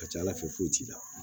A ka ca ala fɛ foyi t'i la